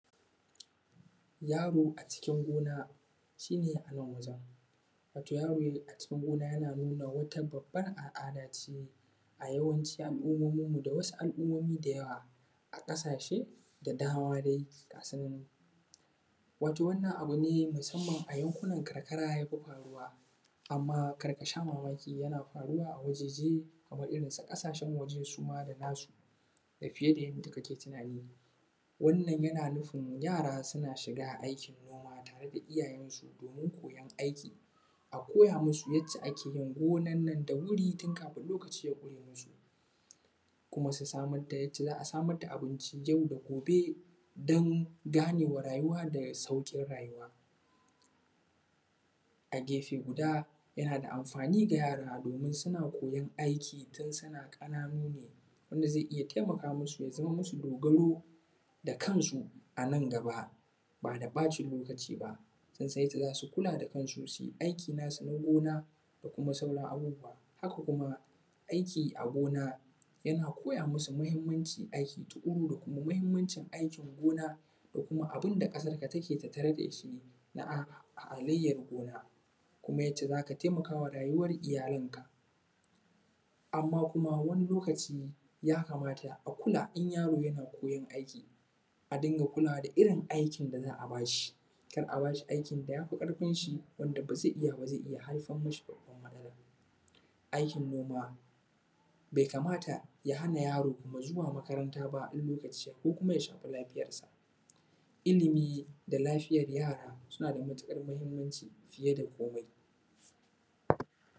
Yaro a cikin gona shi ne a nan wajen wato yaro a cikin gona nuna wata babbar al’ada ne a yawanci al’ummominmu da wasu al’ummmomi da yawa a ƙasashe da dama dai ga su nan wato wannan abu ne musamman a yankunan karkara ya fi faruwa. Amma kar ka sha mamaki yana faruwa a wajaje kaman irinsu ƙasashen waje suma da nasu fiye da yadda kake tunani, wannan yana nufin yara suna shiga aikin gona tare da iyayensu dan koyan aiki a koya musu ya ce ake yin noman nan da wuri tun kafun lokaci ya ƙure musu, kuma su samar da yadda za a samar da abinci yau da gobe dan ganewa rayuwa da sauƙin rayuwa. A gefe guda yana da amfani ga yara domin suna koyan aiki tun suna ƙananu ne wanda zai iya taimaka musu ya zama musu dogaro kansu, a nan gaba ba da ɓata lokaci ba ta yadda za su kula da kansu su aiki nasu na gona da kuma sauran abubuwa. Haka kuma aiki a gona yana koya musu mahimmmancin aiki tuƙuru da kuma mahimancin aikin gona da kuma abun da ƙasarka take tattare da shi na halayyar gona kuma yana yadda za ka taimaka ma rayuwar iyalinka. Amma kuma wani lokaci ya kamata a koya kula in yaro yana koyan aiki a dinga kulawa da kalar aikin da za a ba shi kada a rinƙa ba shi aikin da ya fi ƙarfin shi wanda ba zai iya ba, zai iya haifar mi shi da wani matsalan. Aikin noma bai kamata kuma ya hana yaro zuwa makaranta ba in lokaci ya yi ko kuma ya shafi lafiyarsa, ilimi da lafiyar yara suna da matuƙar mahimmanci fiye da komai.